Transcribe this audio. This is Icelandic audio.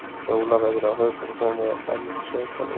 Jólaveðrið á höfuðborgarsvæðinu enn sveipað óvissu